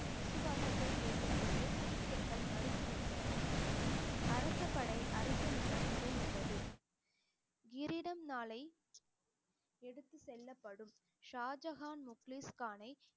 விசுவாசத்தை கேட்டபோது சீக்கியர்கள் மறுத்து விட்டனர் அரசப்படை அரசனிடம் முறையிட்டது கிரீடம் நாளை எடுத்துச் செல்லப்படும் ஷாஜகான் முக்லீஸ் கானை